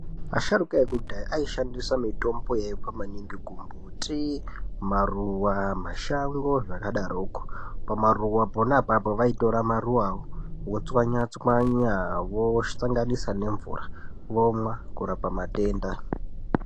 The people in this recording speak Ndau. Asharuka ekudhaya, aishandisa mitombo yaibva maningi kumbuti, maruwa mashango zvakadaroko. Pamaruwa pona apapo, vaitora maruwa votswanyatswanya, vosanganisa nemvura, vomwa ,kurapa matenda.